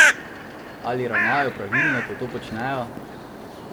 Ali ravnajo pravilno, ko to počnejo?